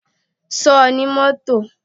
Ṣo ní mọ́tò?